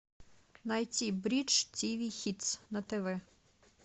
найти бридж тв хитс на тв